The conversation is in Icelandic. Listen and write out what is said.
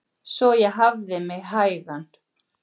Svo ég hafði mig hægan.